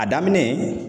A daminɛ